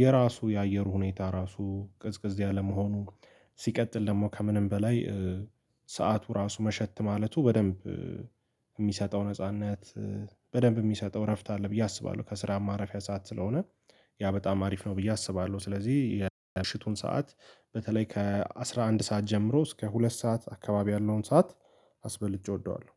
የራሱ የአየሩ ሁኔታ ራሱ ቀዝቀዝ ያለመሆኑ ሲቀጥል ደግሞ ከምንም በላይ ሰዓቱ ራሱ መሸት ማለቱ በደንብ የሚሰጠው ነጻነት በደንብ የሚሰጠው እረፍት አለ ብዬ አስባለሁ። ከስራ ማረፊያ ሰዓት ስለሆነ ያ በጣም አሪፍ ነው ብዬ አስባለሁ። ስለዚህ የምሽቱን ሰዓት በተለይ ከአሥራ አንድ ሰዓት ጀምሮ እስከ ሁለት ሰዓት አካባቢ ያለውን ሰዓት አስበልጬ እወደዋለሁ